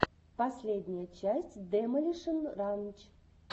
последняя часть демолишен ранч